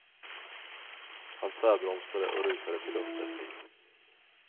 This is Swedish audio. Han tvärbromsade och rusade till undsättning.